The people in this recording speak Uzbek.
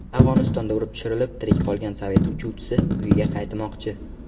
Afg‘onistonda urib tushirilib, tirik qolgan sovet uchuvchisi uyiga qaytmoqchi.